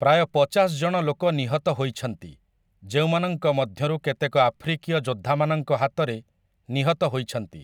ପ୍ରାୟ ପଚାଶ ଜଣ ଲୋକ ନିହତ ହୋଇଛନ୍ତି, ଯେଉଁମାନଙ୍କ ମଧ୍ୟରୁ କେତେକ ଆଫ୍ରିକୀୟ ଯୋଦ୍ଧାମାନଙ୍କ ହାତରେ ନିହତ ହୋଇଛନ୍ତି ।